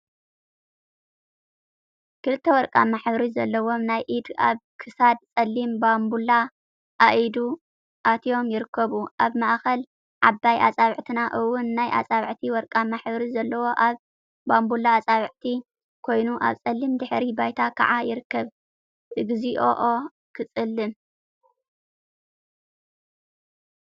ክልተ ወርቃማ ሕብሪ ዘለዎም ናይ ኢድ ኣብ ኽሳድ ጸሊም ባምቡላ ኣኢድ ኣትዮም ይርከቡ። ኣብ ማእክል ዓባይ ኣጻብዕትና እውን ናይ ኣጻብዕቲ ወርቃማ ሕብሪ ዘለዎ ኣብ ባምቡላ ኣጻብዕቲ ኮይኑ ኣብ ጸሊም ድሕረ ባይታ ከዓ ይርከብ። እግዚኣኦ ክጽልም!